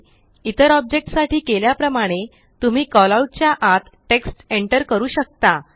इतर ऑब्जेक्ट साठी केल्या प्रमाणे तुम्ही कॉलआउट च्या आत टेक्स्ट एन्टर करू शकता